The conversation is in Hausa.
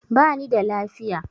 Bani da lafiya